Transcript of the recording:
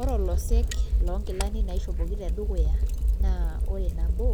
Ore olosek loonkilani naishopoki tedukuya naa ore nabo